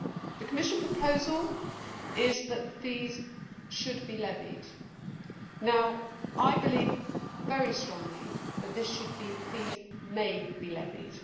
The Commission proposal is that these should be levied. I believe very strongly that this should be fees may be levied'.